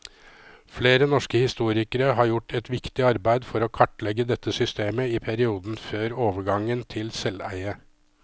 Flere norske historikere har gjort et viktig arbeid for å kartlegge dette systemet i perioden før overgangen til selveie.